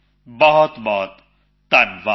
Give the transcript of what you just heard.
ਬਹੁਤਬਹੁਤ ਧੰਨਵਾਦ